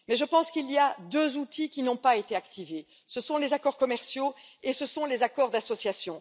Mais je pense qu'il y a deux outils qui n'ont pas été activés ce sont les accords commerciaux et ce sont les accords d'association.